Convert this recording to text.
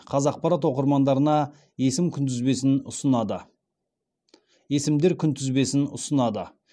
қазақпарат оқырмандарына есімдер күнтізбесін ұсынады